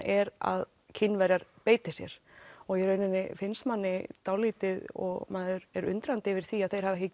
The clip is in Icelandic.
er að Kínverjar beiti sér og í rauninni finnst manni dálítið og maður er undrandi yfir því að þeir hafi ekki